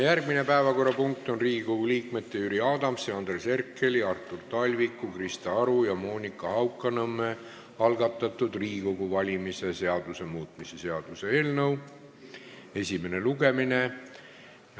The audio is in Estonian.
Järgmine päevakorrapunkt on Riigikogu liikmete Jüri Adamsi, Andres Herkeli, Artur Talviku, Krista Aru ja Monika Haukanõmme algatatud Riigikogu valimise seaduse muutmise seaduse eelnõu esimene lugemine.